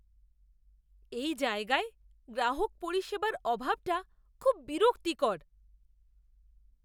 এই জায়গায় গ্রাহক পরিষেবার অভাবটা খুব বিরক্তিকর!